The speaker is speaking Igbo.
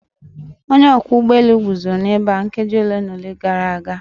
Onye ọkwọ ụgbọ elu guzoro ebe a nkeji ole na ole gara aga.